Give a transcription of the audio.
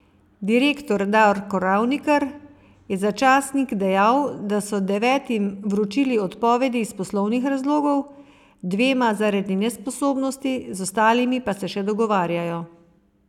Direktor Darko Ravnikar je za časnik dejal, da so devetim vročili odpovedi iz poslovnih razlogov, dvema zaradi nesposobnosti, z ostalimi pa se še dogovarjajo.